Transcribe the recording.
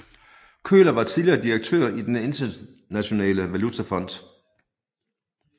Köhler var tidligere direktør i Den Internationale Valutafond